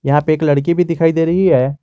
यहां पे एक लड़की भी दिखाई दे रही है।